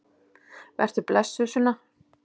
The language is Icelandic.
Vertu blessuð, Sunna.